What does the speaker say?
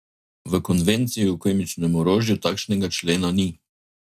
V konvenciji o kemičnem orožju takšnega člena ni.